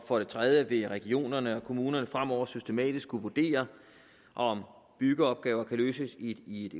for det tredje vil regionerne og kommunerne fremover systematisk kunne vurdere om byggeopgaver kan løses i et